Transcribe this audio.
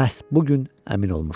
məhz bu gün əmin olmuşdu.